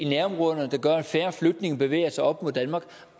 færre flygtninge bevæger sig op mod danmark